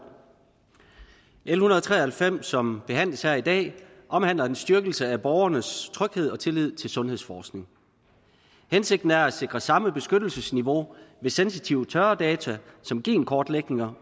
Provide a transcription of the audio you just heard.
l en hundrede og tre og halvfems som behandles her i dag omhandler en styrkelse af borgernes tryghed og tillid til sundhedsforskning hensigten er at sikre samme beskyttelsesniveau ved sensitive tørre data som genkortlægninger